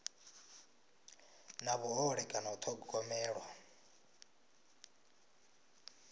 na vhuhole kana u thogomelwa